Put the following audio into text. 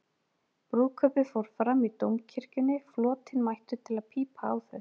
Brúðkaupið fór fram í Dómkirkjunni, flotinn mættur til að pípa á þau.